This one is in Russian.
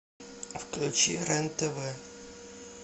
включи рен тв